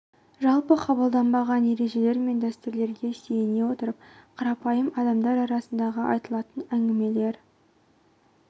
жалпы қабылданған ережелер мен дәстүрлерге сүйене отырып қарапайым адамдар арасындағы айтылатын әңгімелер